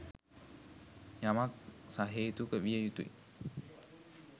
යමක් සහේතුක විය යුතුයි.